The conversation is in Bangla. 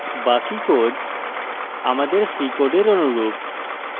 বাকি code আমাদের c code অনুরূপ